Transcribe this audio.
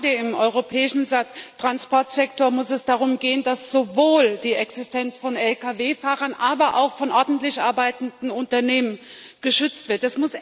Und gerade im europäischen Transportsektor muss es darum gehen, dass sowohl die Existenz von Lkw Fahrern als auch von ordentlich arbeitenden Unternehmen geschützt wird.